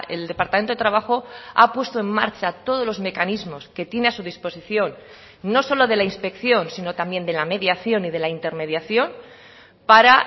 el departamento de trabajo ha puesto en marcha todos los mecanismos que tiene a su disposición no solo de la inspección sino también de la mediación y de la intermediación para